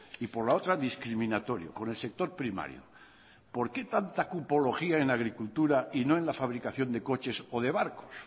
y por la otra discriminatorio con el sector primario por qué tanta cupología en agricultura y no en la fabricación de coches o de barcos